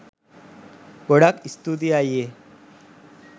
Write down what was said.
ගොඩක් ස්තූතියි අයියේ